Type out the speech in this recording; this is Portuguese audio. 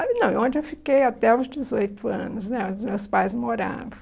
aí não, onde eu fiquei até os dezoito anos né, onde meus pais moravam.